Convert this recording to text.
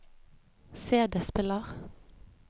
CD-spiller